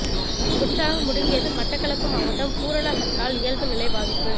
முற்றாக முடங்கியது மட்டக்களப்பு மாவட்டம் பூரண ஹர்த்தால் இயல்பு நிலை பாதிப்பு